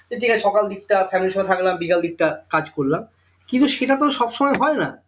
ঠিক আছে সকাল দিকটা family ইর সঙ্গে থাকলাম বিকাল দিকটা কাজ করলাম কিন্তু সেটা তো সব সময় হয় না